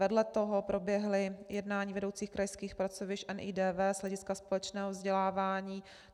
Vedle toho proběhla jednání vedoucích krajských pracovišť NIDV z hlediska společného vzdělávání.